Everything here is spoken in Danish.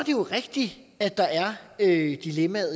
jo rigtigt at der er et dilemma